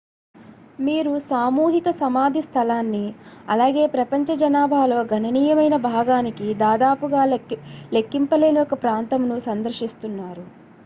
మీరు సామూహిక సమాధి స్థలాన్ని అలాగే ప్రపంచ జనాభాలో గణనీయమైన భాగానికి దాదాపుగా లెక్కింపలేని ఒక ప్రాంతమును సందర్శిస్తున్నారు